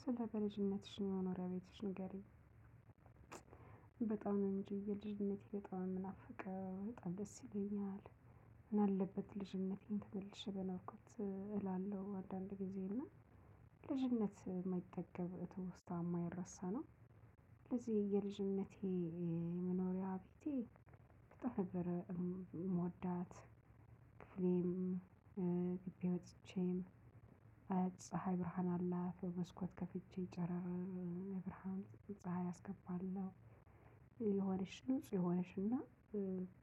ስለልጅነትሽ መኖሪያ ቤት ንገሪኝ በጣም ነው እጅ የልጅነቴ በጣም ነው የምናፍቀው በጣም ደስ ይለኛል። ምናለበት ልጅነቴን ተመልሼ በኖርኩት እላለሁ አንዳድጊዜ እና ልጅነት የማይጠገብ ትውስታ የማይረሳ ነው። ስለዚህ የየልጅነቴ መኖሪያ ቤቴ በጣምነብር የምወዳት ክፍሌም ግቢ ወጥቼም ፀሀይ ብርሃን አላት በመስኮት ከፍቼ ጨረር ብርሃን ፀሀይ አስገባለሁ። የሆነች ንጹህ የሆነች እና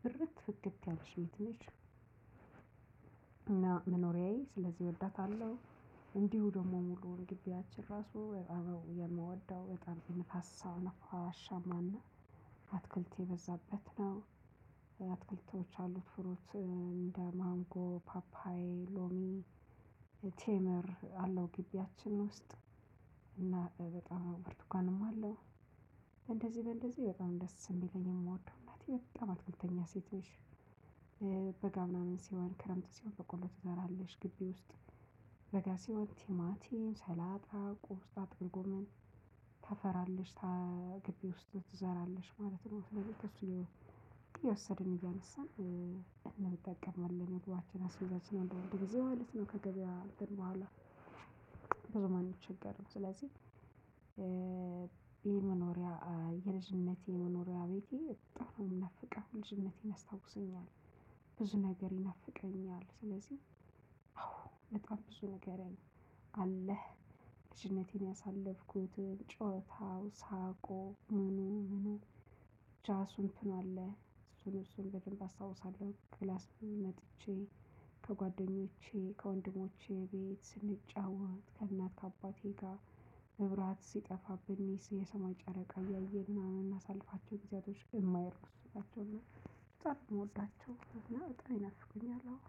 ብርት ፍክት ያለች ቤት ነች። እና መኖሪያየ ስለዚህ እወዳታለሁ። እንዲሁ ደግሞ ሙሉውን ግቢያችን ራሱ የምወደው በጠም ነፋአሻማና አትክልት የበዛበት ነው። አትክልቶች አሉት ፍሩት እንደ ማንጎ ፓፓዬ ሎሚ ቴምር አለው ግቢያችን ውስጥ። እና በጣም ብርቱካንም አለው። እንደዚህ በእንደዚህ በጣም ደስ የሚለኝ የምወደው እናቴ በጣም አትክልተኛ ሴት ነች። በጋ ምናምን ሲሆን ክረምት ሲሆን በቆሎ ትዘራለች ግቢ ውስጥ። በጋሲሆን ቲማቲም ሰላጣ ቆስጣ ጥቅልጎመን ትዘራለች። ከግቢ ውስጥ ትዘራለች ማለት ነውስለዚ ከሱ። እየወሰድን እያነሳን እንጠቀማለን ምግባችንን አስቤዛችንን አዳድ ጊዜ ማለት ነው ከገበያ እትን ቡሀላ። ብዙም አንቸገርም ስለዚ። የመኖሪያ የልጅነቴ መኖሪያ ቤቴ በጣምነው የምናፍቀው ልጅነቴን ያስታውሰኛል። ብዙ ነገር ይነፍቀኛል ስለዚህ አዎ በጣም ብዙ ነገር አለህ። ልጅነቴን ያሳለፍኩትን ጨዋታው ሳቁ ምኑኑኑ ብቻስቱአለ እሱን እሱን በደንብ አስታውሳለሁ። ክላስ መጥቼ ከጓደኞቼ ከወንድሞቼ ቤት ስንጫወት ከእናት ከአባቴ ጋር በብራት ሲጠፋብን የሰማ ጨረቃ እያየን ምናምን አምናሳልፋቸው ጊዜያቶች የማይርሱ ናቸውና። በጣምነው እምወዳቸው እና በጣም ይናፍቁኛል። አሁን